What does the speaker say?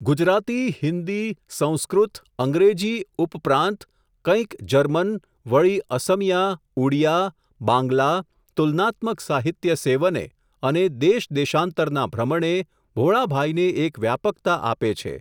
ગુજરાતી, હિન્દી, સંસ્કૃત, અંગ્રેજી ઉપ પ્રાંત કંઈક જર્મન, વળી અસમિયા, ઉડિયા, બાંગલા, તુલનાત્મક સાહિત્ય સેવને, અને દેશ દેશાંતરના ભ્રમણે, ભોળાભાઈને એક વ્યાપકતા આપે છે.